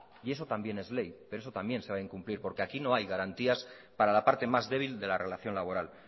y eso también es ley pero eso también se va a incumplir porque aquí no hay garantías para la parte más débil de la relación laboral